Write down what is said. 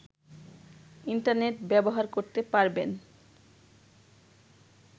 internet ব্যবহার করতে পারবেন